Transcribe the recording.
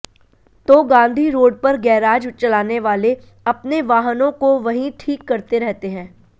तो गांधी रोड पर गैराज चलाने वाले अपने वाहनों को वहीं ठीक करते रहते हैं